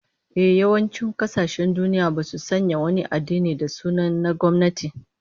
Ehh, yawancin kasashen duniya basu sanya wani addini da sunan na gwamnati